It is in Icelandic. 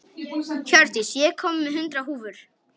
Hjördís, ég kom með hundrað húfur!